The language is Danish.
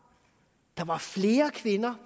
der var procentuelt flere kvinder